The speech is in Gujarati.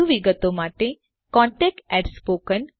વધુ વિગત માટે contactspoken tutorialorg પર સંપર્ક કરો